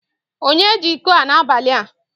Onye ji iko a n'abali a?